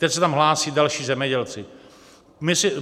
Teď se tam hlásí další zemědělci.